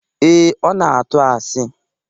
Ee, Ọ na-atu asị